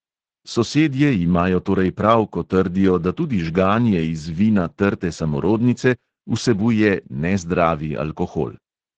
Sosedje imajo torej prav, ko trdijo, da tudi žganje iz vina trte samorodnice vsebuje "nezdravi" alkohol.